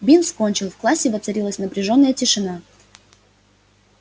бинс кончил в классе воцарилась напряжённая тишина